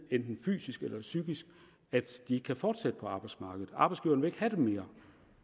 enten fysisk eller psykisk at de ikke kan fortsætte på arbejdsmarkedet arbejdsgiverne vil ikke have dem mere